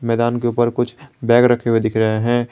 मैदान के ऊपर कुछ बैग रखे हुए दिख रहे हैं।